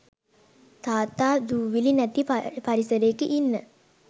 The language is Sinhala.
තාත්තා දූවිලි නැති පරිසරයක ඉන්න